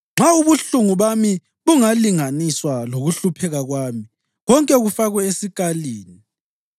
“Nxa ubuhlungu bami bungalinganiswa lokuhlupheka kwami konke kufakwe esikalini!